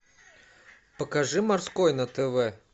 покажи морской на тв